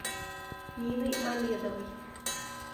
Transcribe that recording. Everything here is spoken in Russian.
ниной мамедовой